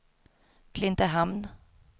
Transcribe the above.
Klintehamn